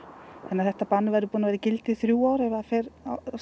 þannig að þetta bann verður búið að vera í gildi í þrjú ár ef fer